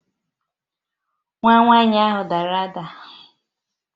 Nwa nwanyi ahu dara ada